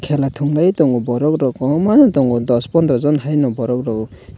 khela thungui tongo borokrok kwbangmano tongo dos pondrojon haino borokrok.